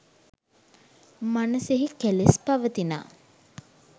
මනසෙහි කෙලෙස් පවතිනා